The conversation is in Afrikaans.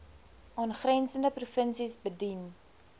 aangrensende provinsies bedien